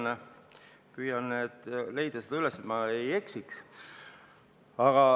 Ma püüan leida seda kohta üles, et ma ei eksiks.